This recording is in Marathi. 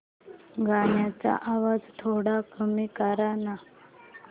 गाण्याचा आवाज थोडा कमी कर ना